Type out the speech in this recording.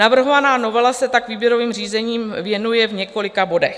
Navrhovaná novela se tak výběrovým řízením věnuje v několika bodech.